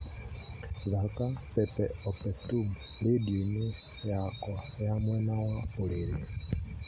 thaaka pepe opetum rĩndiũ-inĩ yakwa ya mwena wa ũrĩrĩ